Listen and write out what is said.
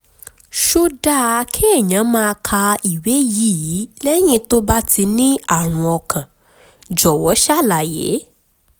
ṣó dáa kéèyàn máa ka ìwé yìí lẹ́yìn tó bá ti ní àrùn ọkàn? jọ̀wọ́ ṣàlàyé